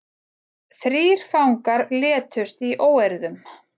Þrír fangar létust í óeirðum